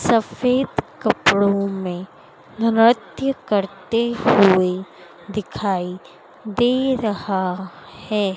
सफेद कपड़ो में नृत्य करते हुए दिखाई दे रहा है।